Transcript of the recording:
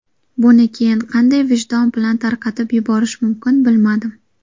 Buni keyin qanday vijdon bilan tarqatib yuborish mumkin bilmadim.